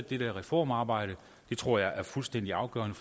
det reformarbejde det tror jeg er fuldstændig afgørende